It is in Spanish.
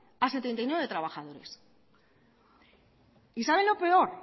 a setenta y nueve trabajadores y saben lo peor